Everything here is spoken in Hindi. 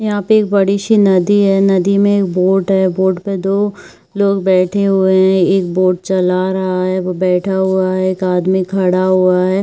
यहाँ पे एक बड़ी सी नदी है नदी में एक बोट है बोट पे दो लोग बैठे हुए है एक बोट चला रहा है वो बैठा हुआ है एक आदमी खड़ा हुआ है ।